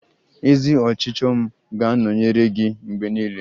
Ezi ọchịchọ m ga-anọnyere gị mgbe niile.